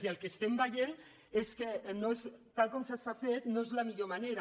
i el que estem veient és que tal com s’ha fet no és la millor manera